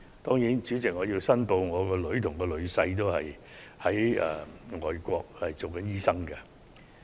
就此，主席，我想申報我的女兒和女婿均是外國執業醫生。